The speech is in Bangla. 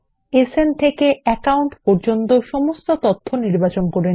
সান থেকে অ্যাকাউন্টে শিরোনাম এর অধীনে সব তথ্য একসঙ্গে নির্বাচন করুন